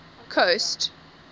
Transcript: coast